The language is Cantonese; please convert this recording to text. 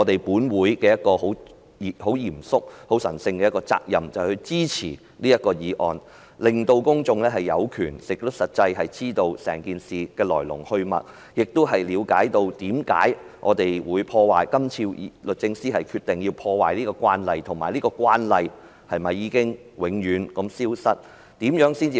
本會很嚴肅及神聖的責任，就是支持這項議案，令公眾有權並實際知道整件事的來龍去脈，以了解為何律政司今次要打破慣例，以及是否令這個慣例永遠消失？